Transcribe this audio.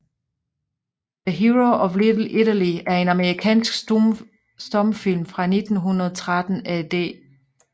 The Hero of Little Italy er en amerikansk stumfilm fra 1913 af D